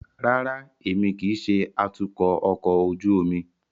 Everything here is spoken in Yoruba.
Rárá, Emi kii ṣe atukọ ọkọ ojú omi